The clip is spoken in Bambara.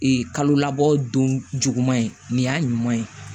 kalo labɔ don juguman ye nin y'a ɲuman ye